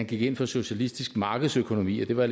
gik ind for socialistisk markedsøkonomi og det var